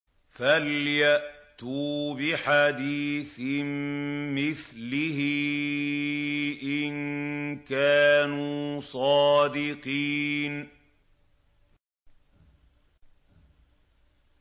فَلْيَأْتُوا بِحَدِيثٍ مِّثْلِهِ إِن كَانُوا صَادِقِينَ